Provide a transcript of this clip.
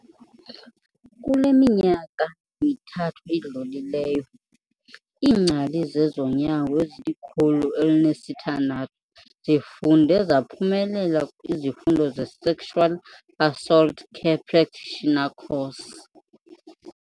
"Kule minyaka mithathu idlulileyo, iingcali zezonyango ezili-106 zifunde zaphumelela izifundo ze-Sexual Assault Care Practitioner Course."